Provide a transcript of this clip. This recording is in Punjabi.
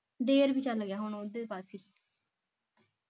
ਜੇਠ ਵੀ ਚਲ ਗਿਆ ਹੁਣ ਓਹਦੇ ਪਾਸੇ